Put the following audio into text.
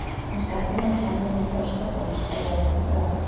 Hann setti fram kenningu um þroska fólks frá vöggu til grafar.